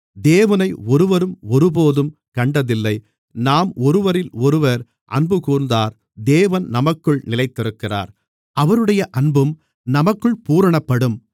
தேவனை ஒருவரும் ஒருபோதும் கண்டதில்லை நாம் ஒருவரிலொருவர் அன்புகூர்ந்தால் தேவன் நமக்குள் நிலைத்திருக்கிறார் அவருடைய அன்பும் நமக்குள் பூரணப்படும்